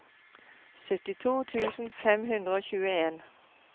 syttito tusen fem hundre og tjueen